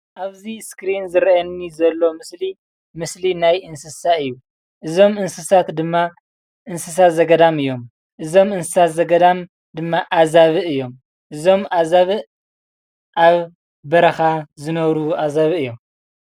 ኣብዚ ስክሪን ዝረአየኒ ዘሎ ምስሊ ምስሊ ናይ እንስሳ እዩ። አዞም እንስሳት ድማ እንስሳ ዘገዳም እዮም። እዞም እንስሳ ዘገዳም ኣብ በረኻ ዝነብሩ ኣዛብእ እዮም።